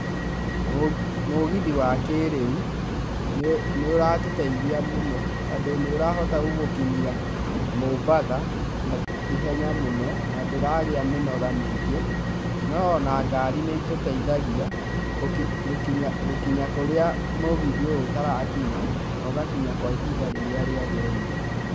Mũgithi wa kĩrĩu nĩ ũratũteithia mũno, tondũ nĩ ũrahota gũgũkinyia Mombatha ihenya mũno na ndũragĩa mĩnoga mĩingĩ. No ona ngari nĩ ĩtũteithagia gũkinya kũrĩa mũgithi ũyũ ũtarakinya, na ũgakinya kwa ihinda rĩrĩa rĩagĩrĩire.